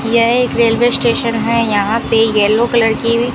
यह एक railway station है यहां पे येलो कलर की--